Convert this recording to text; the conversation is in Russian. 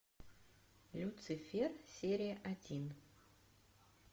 люцифер серия один